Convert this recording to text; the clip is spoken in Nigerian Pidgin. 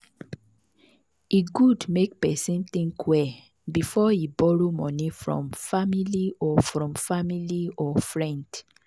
e good make person think well before e borrow money from family or from family or friend.